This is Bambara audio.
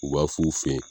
U b'a f'u fe yen